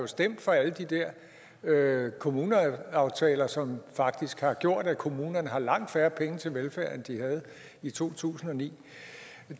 stemt for alle de der kommuneaftaler som faktisk har gjort at kommunerne har langt færre penge til velfærd end de havde i to tusind og ni